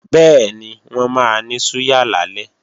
Bẹ́ẹ̀ni, wọ́n máa ní súyà lálẹ́